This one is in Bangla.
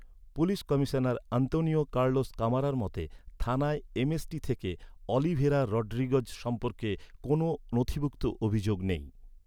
পুলিশ কমিশনার আন্তোনিও কার্লোস কামারার মতে, থানায় এম.এস.টি থেকে অলিভেরা রড্রিগেজ সম্পর্কে কোনও নথিভুক্ত অভিযোগ নেই।